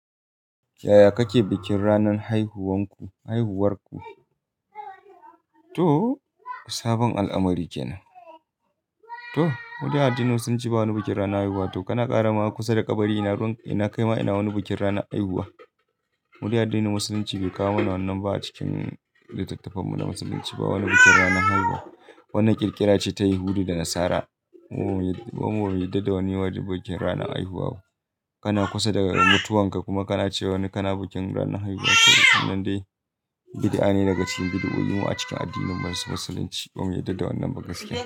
Yaya kake bikin ranar haihuwar ku? To sabon al'amari kenan. To, wajen addinin Musulunci ba wani bikin ranar haihuwa. Kana ƙara ma kusa da kabari ina kaima ina wani bikin ranar haihuwa. Mude addinin Musulunci bai kawo mana wannan ba a cikin littattafan mu na Musulunci. Ba wani bikin ranar haihuwa. Wannan ƙirƙira ce ta Yahudi da Nasara. Mu bamu yarda da wani bikin ranar haihuwa ba. Kana kusa da mutuwanka kuma kana cewa kana bikin ranar haihuwa to wannan dai bid'a ne daga cikin bid'o'i mu a cikin addinin Musulunci. Ba mu yarda da wannan ba gaskiya.